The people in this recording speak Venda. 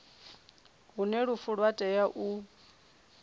hune lufu lwa tea u